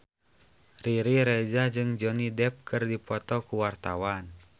Riri Reza jeung Johnny Depp keur dipoto ku wartawan